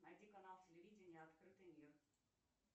найди канал телевидения открытый мир